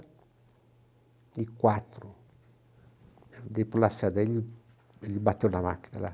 e quatro. Dei para o Lacerda, ele ele bateu na máquina lá.